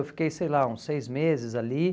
Eu fiquei, sei lá, uns seis meses ali.